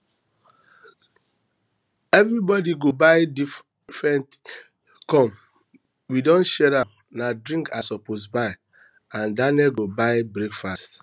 everybody go buy different things come we don share am na drinks i suppose buy and daniel go buy breakfast